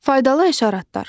Faydalı həşəratlar.